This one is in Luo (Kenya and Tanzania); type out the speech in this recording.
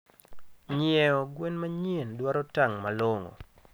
Nyieo gwen manyien dwaro tang malongo